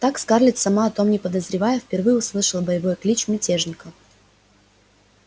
так скарлетт сама о том не подозревая впервые услышала боевой клич мятежников